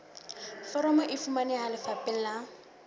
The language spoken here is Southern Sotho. foromo e fumaneha lefapheng la